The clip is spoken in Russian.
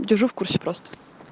держу в курсе просто